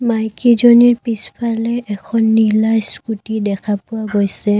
মাইকীজনীৰ পিছফালে এখন নীলা স্কুটী দেখা পোৱা গৈছে।